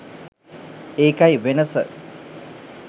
ඒකයි වෙනස.